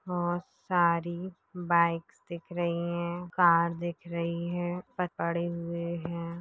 बहुत सारी बाइक्स दिख रही है कार दिख रही है पड़े हुवे है।